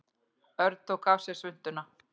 Örn tók af sér svuntuna.